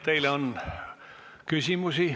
Teile on küsimusi.